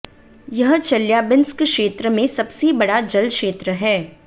यह चेल्याबिंस्क क्षेत्र में सबसे बड़ा जल क्षेत्र है